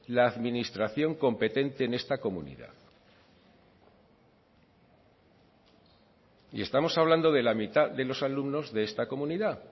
la administración competente en esta comunidad y estamos hablando de la mitad de los alumnos de esta comunidad